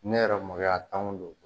Ne yɛrɛ mɔgɔya tanw de don